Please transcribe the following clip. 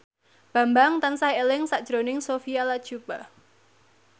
Bambang tansah eling sakjroning Sophia Latjuba